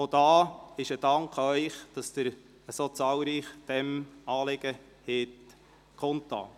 Ich danke Ihnen dafür, dass Sie diesem Anliegen so zahlreich entsprochen haben.